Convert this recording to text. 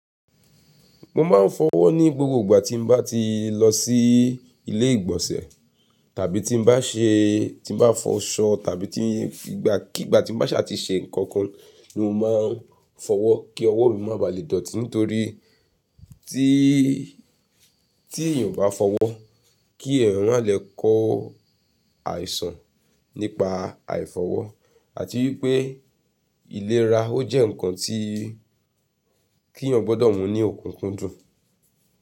Mo máa ń fọwọ́ ní gbogbo ìgbà tí mo bá ti lọ sí ilé ìgbọ̀nsẹ̀ tàbí tí mo bá ṣe tí mo bá fọ ṣọ tàbí tí ìgbà kí ìgbà tí mo bá ṣàtì ṣe nǹkan kan ni mo máa ń fọwọ́ kí ọwọ́ mi má baà lè dọ̀tí. Nítorí tí́ tí èèyàn o bá fọwọ́ kí eeyàn ma le kọ àìsàn nípa àìfọwọ́ àti wípé ìlera ó jẹ́ ǹkan tí kí èèyàn gbọ́dọ̀ mú ní òkùnkùndùn.